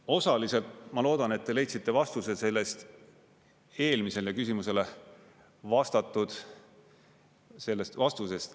Osaliselt, ma loodan, et te leidsite vastuse sellest eelmisele küsimusele vastatud sellest vastusest.